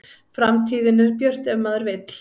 Framtíðin er björt ef maður vill